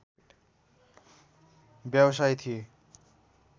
व्यवसाय थिए